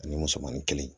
Ani musomannin kelen